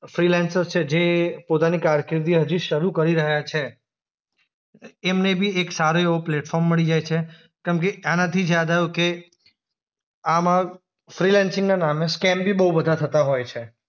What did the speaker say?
Freelancers છે જે પોતાની કારકિર્દી હજુ શરું કરી રહ્યા છે. એમને બી એક સારું એવું પ્લેટફોર્મ મળી જાય છે. કેમકે આનાથી જ યાદ આવ્યું કે આમ ફ્રીલેન્સિંગના નામે સ્કેમ બી બો બધા થતા હોય છે.